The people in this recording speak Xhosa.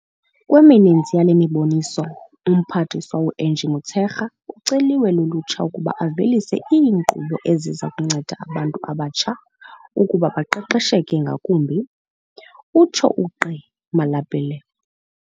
Kwemininzi yale miboniso, uMphathiswa u-Angie Motshekga uceliwe lulutsha ukuba avelise iinkqubo eziza kunceda abantu abatsha ukuba baqesheke ngakumbi, utsho uGqi Malapile.